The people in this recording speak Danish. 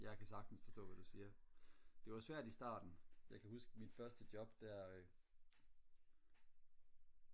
jeg kan sagtens forstå hvad du siger det var svært i starten jeg kan huske mit første job der